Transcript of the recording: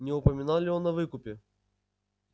не упоминал ли он о выкупе